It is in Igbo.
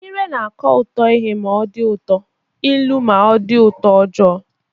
Ire na-akọ ụtọ ihe ma ọ dị ụtọ, ilu ma ọ bụ utoojoo